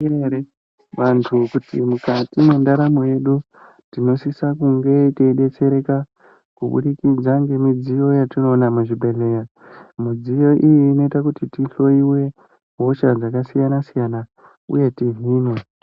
Vantu kuti mukati mwendaramo yedu tinosisa kunga teidetsereka kubudikidza ngemidziyo yatinoona muzvibhehleya. Midziyo iyi inoita kuti tihloyiwe hosha dzakasiyana siyana uye tihinwe.